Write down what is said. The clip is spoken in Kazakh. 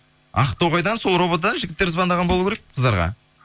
ақтоғайдан сол ровд дан жігіттер звондаған болу керек қыздарға